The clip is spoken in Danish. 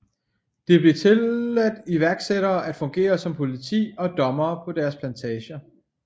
Det blev tilladt iværksættere at fungere som politi og dommere på deres plantager